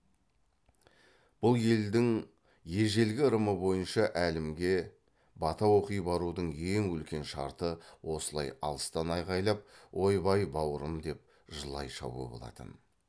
бұл елдің ежелгі ырымы бойынша әлімге бата оқи барудың ең үлкен шарты осылай алыстан айғайлап ой бай баурым деп жылай шабу болатын